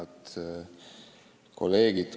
Head kolleegid!